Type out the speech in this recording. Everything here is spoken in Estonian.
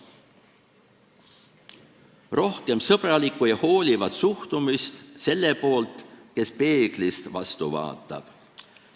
Rohkem sõbralikku ja hoolivat suhtumist selle poolt, kes peeglist vastu vaatab.